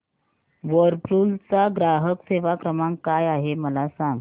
Whirlpool चा ग्राहक सेवा क्रमांक काय आहे मला सांग